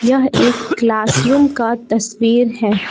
यह एक क्लासरूम का तस्वीर है।